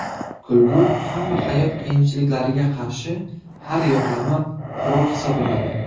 Kulgu hamma hayot qiyinchiliklariga qarshi har yoqlama qurol hisoblanadi.